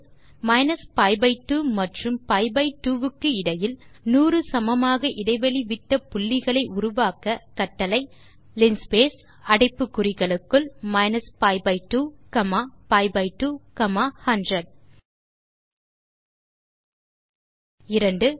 minus pi by 2 மற்றும் pi by 2 க்கு இடையில் 100 சமமாக இடைவெளி விட்ட புள்ளிகளை உருவாக்க கட்டளை லின்ஸ்பேஸ் அடைப்பு குறிகளுக்குள் minus pi by 2 comma pi by 2 comma 100 இரண்டாவது